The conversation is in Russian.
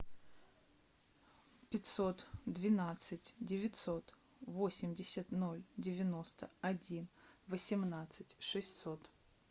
пятьсот двенадцать девятьсот восемьдесят ноль девяносто один восемнадцать шестьсот